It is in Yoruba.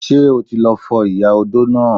Ṣé o ti lọ fọ ìyá odó náà!